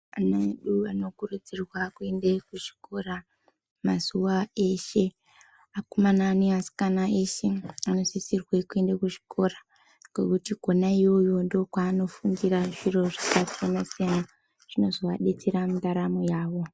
Ana edu anokurudzirwa kuende kuchikora mazuwa eshe akomana neasikana eshe anosisirwe kuende kuchikora ngekuti kona iyoyo ndokwaanofundira zviro zvakasiyana siyana zvinozovadetsera mundaramo yavo